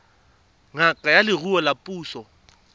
ngaka ya leruo ya puso